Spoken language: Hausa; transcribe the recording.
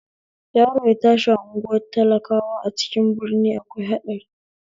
Yaro ya tashi a unguwar talakawa a cikin birni akwai haɗari